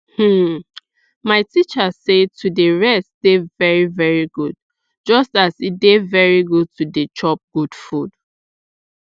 hmm my teacher say to dey rest dey very very good just as e dey very good to dey chop good food